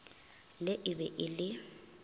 le e be e le